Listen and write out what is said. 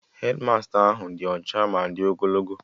Hedmasta ahụ dị ọcha ma di ogologo